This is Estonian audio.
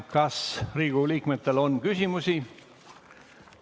Kas Riigikogu liikmetel on küsimusi?